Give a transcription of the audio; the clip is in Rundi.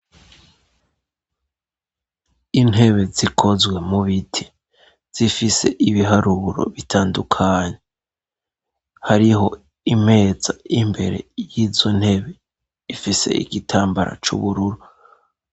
Intebe zikozwe mu biti zifise ibiharuro bitandukanye, hariho imeza imbere y'izo ntebe ifise igitambara c'ubururu.